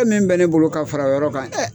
Fɛn min bɛ ne bolo ka far'o yɔrɔ kan